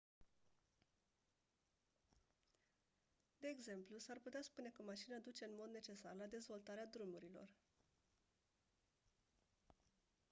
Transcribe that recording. de exemplu s-ar putea spune că mașina duce în mod necesar la dezvoltarea drumurilor